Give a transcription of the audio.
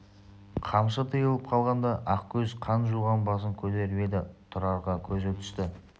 қамшы тыйылып қалғанда ақкөз қан жуған басын көтеріп еді тұрарға көзі түсті